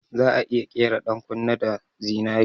Za'a iya ƙera 'yan kunne da zinari